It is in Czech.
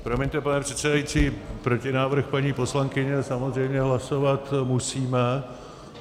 Promiňte, pane předsedající, protinávrh paní poslankyně samozřejmě hlasovat musíme.